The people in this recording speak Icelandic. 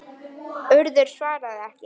Urður svarað ekki.